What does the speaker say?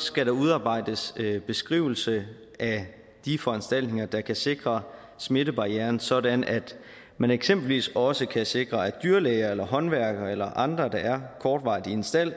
skal der udarbejdes en beskrivelse af de foranstaltninger der kan sikre smittebarrieren sådan at man eksempelvis også kan sikre at dyrlæger eller håndværkere eller andre der er kortvarigt i en stald